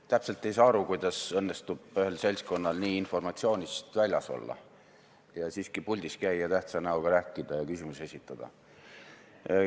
Ma täpselt ei saa aru, kuidas õnnestub ühel seltskonnal informatsioonist niivõrd väljas olla ja siiski puldis käia, tähtsa näoga rääkida ja küsimusi esitada.